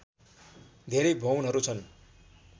धेरै भवनहरू छन्